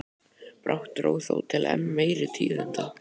Brátt dró þó til enn meiri tíðinda.